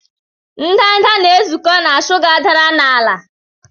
ndanda na-ezukọ na shuga dara n'ala.